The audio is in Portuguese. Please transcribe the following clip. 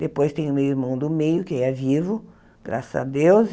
Depois tem o meu irmão do meio, que é vivo, graças a Deus.